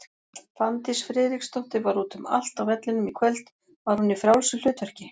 Fanndís Friðriksdóttir var út um allt á vellinum í kvöld, var hún í frjálsu hlutverki?